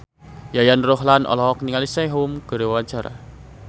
Yayan Ruhlan olohok ningali Sehun keur diwawancara